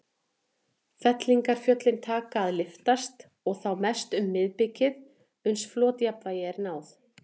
Fellingafjöllin taka að lyftast, og þá mest um miðbikið, uns flotjafnvægi er náð.